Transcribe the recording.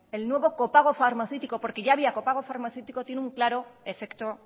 el nuevo copago farmaceútico porque ya había copago farmaceútico tiene un claro efecto